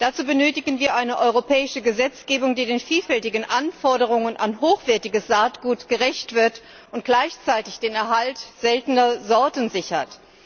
Dazu benötigen wir eine europäische Gesetzgebung, die den vielfältigen Anforderungen an hochwertiges Saatgut gerecht wird und gleichzeitig den Erhalt seltener Sorten sichert.